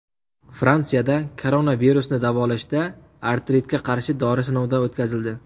Fransiyada koronavirusni davolashda artritga qarshi dori sinovdan o‘tkazildi.